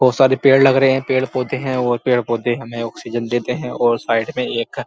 बहोत सारे पेड़ लग रहे है पेड़ पौधे है और पेड़ पौधे हमें ऑक्सीजन देते है और साइड में एक--